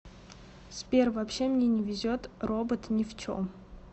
сбер вообще мне не везет робот не в чем